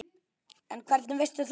En hvernig veistu það?